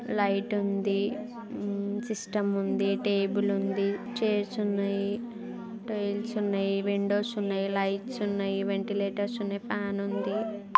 Light ఉంది. Hmm system ఉంది. Table ఉంది. చైర్స్ ఉన్నాయి. టైల్స్ ఉన్నాయ్ విండోస్ ఉన్నాయ్. లైట్స్ ఉన్నాయ్. వెంటిలేటర్స్ ఉన్నాయ్. ఫ్యాన్ ఉంది.